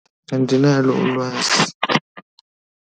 Andinalo ulwazi.